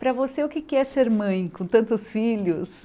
Para você, o que é que é ser mãe com tantos filhos?